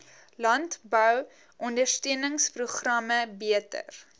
landbou ondersteuningsprogramme beter